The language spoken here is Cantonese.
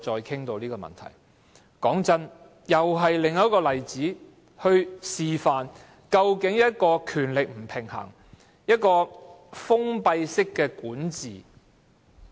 坦白說，這是另一個例子，示範甚麼是權力不平衡、封閉式管治。